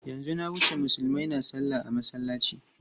Yanzu na wuce Musulmai na salla a masallaci.